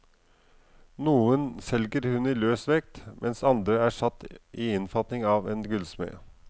Noen selger hun i løs vekt, mens andre er satt i innfatning av en gullsmed.